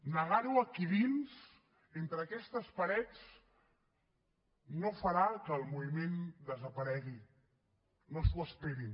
negar ho aquí dins entre aquestes parets no farà que el moviment desaparegui no s’ho esperin